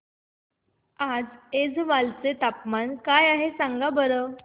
आज ऐझवाल चे तापमान काय आहे सांगा बरं